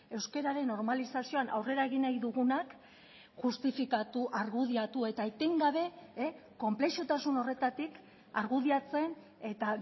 euskararen normalizazioan aurrera egin nahi dugunak justifikatu argudiatu eta eten gabe konplexutasun horretatik argudiatzen eta